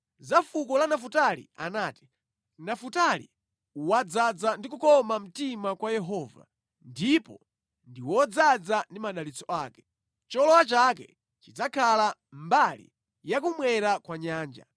Za fuko la Nafutali anati: “Nafutali wadzaza ndi kukoma mtima kwa Yehova ndipo ndi wodzaza ndi madalitso ake; cholowa chake chidzakhala mbali ya kummwera kwa nyanja.”